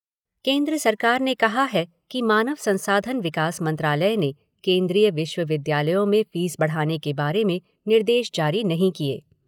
केन्द्र सरकार ने कहा है कि मानव संसाधन विकास मंत्रालय ने केन्द्रीय विश्वविद्यालयों में फीस बढ़ाने बारे निर्देश जारी नहीं किये।